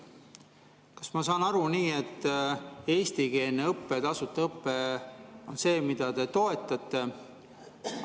Kas ma saan õigesti aru, et eestikeelne tasuta õpe on see, mida te toetate?